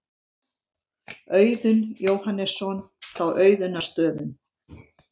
Auðunn Jóhannesson frá Auðunnarstöðum.